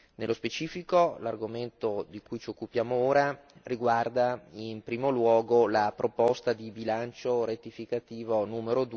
Nello specifico l'argomento di cui ci occupiamo ora riguarda in primo luogo la proposta di bilancio rettificativo n.